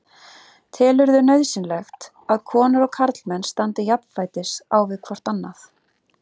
Telurðu nauðsynlegt að konur og karlmenn standi jafnfætis á við hvort annað?